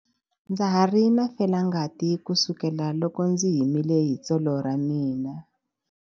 Ndza ha ri na felangati kusukela loko ndzi himile hi tsolo ra mina.